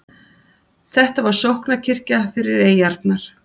Þetta var sóknarkirkja fyrir eyjarnar.